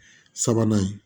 Sabanan ye